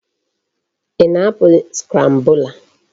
Ị na-apịa scrambler?